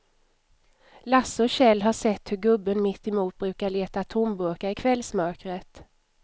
Lasse och Kjell har sett hur gubben mittemot brukar leta tomburkar i kvällsmörkret.